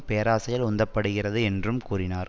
பேராசையால் உந்தப்படுகிறது என்றும் கூறினார்